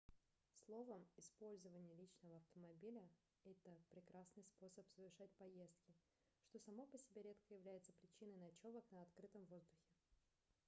словом использование личного автомобиля это прекрасный способ совершать поездки что само по себе редко является причиной ночёвок на открытом воздухе